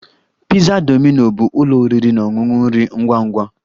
Pizza Domino bụ ụlọ oriri na ọṅụṅụ nri ngwa ngwa